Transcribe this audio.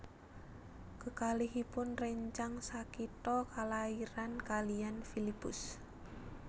Kekalihipun rèncang sakitha kalairan kaliyan Filipus